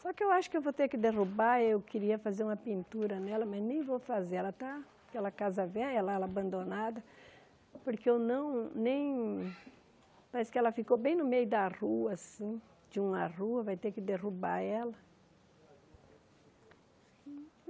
Só que eu acho que vou ter que derrubar, eu queria fazer uma pintura nela, mas nem vou fazer, ela está aquela casa velha lá, ela abandonada, porque eu não, nem... parece que ela ficou bem no meio da rua, assim, de uma rua, vai ter que derrubar ela.